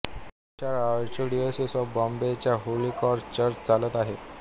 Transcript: ही शाळा archdiocese of बॉम्बेच्या Holy Cross church चालत आहे